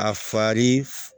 A fari